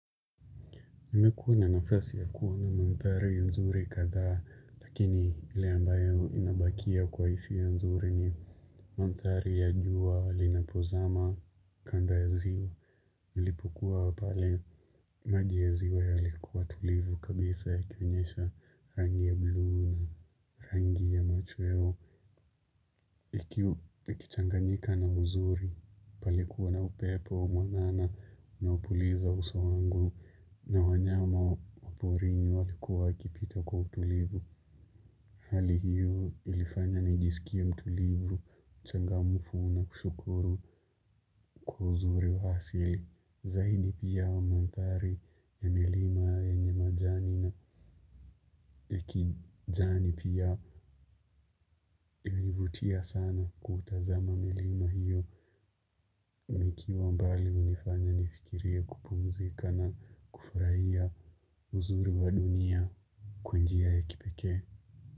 Nimekuwa na nafasi ya kuwa na manthari nzuri kadhaa, lakini ile ambayo inabakia kwa hisia nzuri ni manthari ya jua linapozama kando ya ziwa. Nilipokuwa pale maji ya ziwa yalikuwa tulivu kabisa yakionyesha rangi ya bluu na rangi ya macho yao. Ikichanganyika na uzuri palikuwa na upepo mwanana na unaopuliza uso wangu na wanyama waporini walikuwa wakipita kwa utulivu. Hali hiyo ilifanya nijisikie mtulivu, mchangamfu na kushukuru kwa uzuri wa asili. Zaidi pia wa manthari ya milima yenye majani na ya kijani pia hunivutia sana kutazama milima hiyo nikiwa mbali hunifanya nifikirie kupunzika na kufurahia uzuri wa dunia kwa njia ya kipekee.